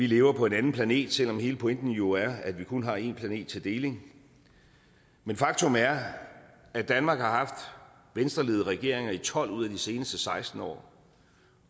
lever på en anden planet selv om hele pointen er jo er at vi kun har en planet til deling men faktum er at danmark har haft venstreledede regeringer i tolv ud af de seneste seksten år